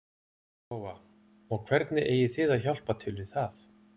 Lóa: Og hvernig eigið þið að hjálpa til við það?